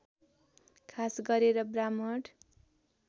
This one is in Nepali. खास गरेर ब्राम्हण